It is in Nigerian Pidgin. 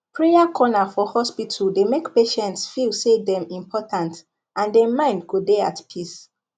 prayer corner for hospital dey make patients feel say dem important and dem mind go dey at peace